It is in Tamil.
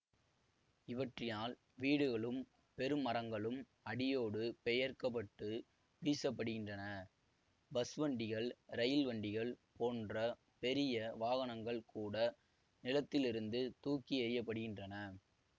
இவற்றினால் வீடுகளும் பெருமரங்களும் அடியோடு பெயர்க்கப்பட்டு வீசப்படுகின்றன பஸ்வண்டிகள் ரெயில் வண்டிகள் போன்ற பெரிய வாகனங்கள் கூட நிலத்திலிருந்து தூக்கி எறியப்படுகின்றன